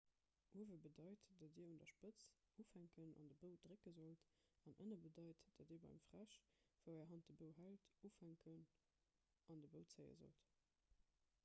uewe bedeit datt dir un der spëtz ufänken an de bou drécke sollt an ënne bedeit datt dir beim fräsch wou är hand de bou hält ufänken an de bou zéie sollt